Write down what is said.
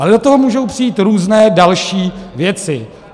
Ale do toho můžou přijít různé další věci.